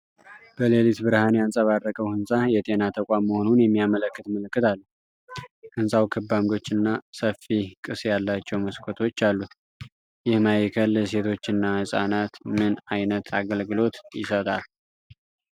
በሌሊት ብርሃን ያንጸባረቀው ህንፃ፣ የጤና ተቋም መሆኑን የሚያመለክት ምልክት አለው። ሕንፃው ክብ ዓምዶች እና ሰፊ ቅስ ያላቸው መስኮቶች አሉት። ይህ ማዕከል ለሴቶችና ህፃናት ምን አይነት አገልግሎት ይሰጣል?